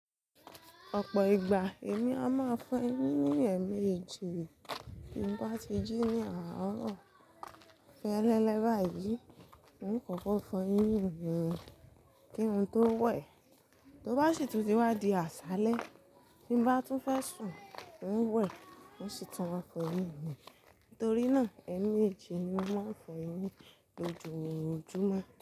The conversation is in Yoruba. Ọ̀pọ̀ ìgbà èmi a máa fọn eyín ní ẹ̀ mejí bí n bá ti jí ní àárọ̀. Fẹ́ ẹlẹ́lẹ́ báyìí, mo ní kòkò fọn eyín mì ni. Kí n tó wẹ̀, tó bá sì tún ti wá di àṣálẹ́, tí n bá tún fẹ́ sùn, mo ń wẹ̀, mo sì tún máa fọn eyín mi. Nítorí náà, ẹ̀ mejì ni mo máa fọn eyín lójoojúmọ́.